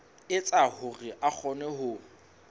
etsa hore a kgone ho